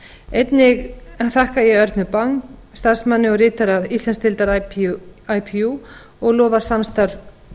einnig þakka ég örnu bang starfsmanni og ritara íslandsdeildar ipu og lofar samstarf